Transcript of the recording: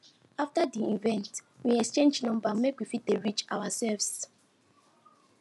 after di event we exchange number make we fit dey reach ourselves